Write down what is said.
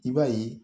I b'a ye